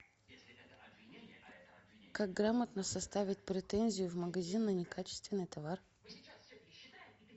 как грамотно составить претензию в магазин на некачественный товар